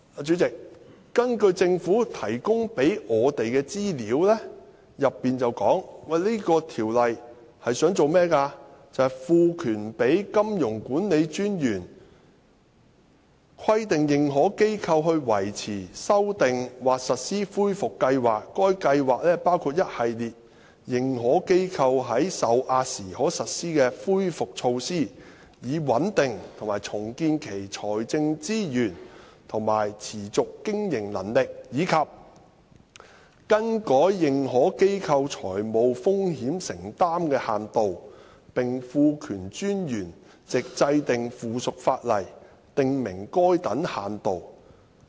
主席，政府提供給我們的資料當中提到《條例草案》的作用，就是"賦權金融管理專員規定認可機構維持、修訂或實施恢復計劃。該計劃包括一系列認可機構在受壓時可實施的恢復措施，以穩定及重建其財政資源和持續經營能力；以及更改認可機構財務風險承擔的限度，並賦權專員藉制定附屬法例，訂明該等限度"。